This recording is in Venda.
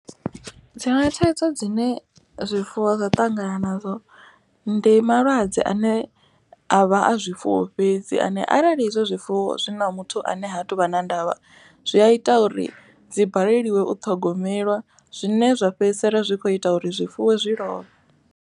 Dziṅwe thaidzo dzine zwifuwo zwa ṱangana nazwo ndi malwadze ane a vha a zwifuwo fhedzi. Ane arali izwo zwifuwo zwi na muthu ane ha tuvha na ndavha zwi a ita uri dzi baleliwe u ṱhogomelwa. Zwine zwa fhedzisela zwi kho ita uri zwifuwo zwi lovhe.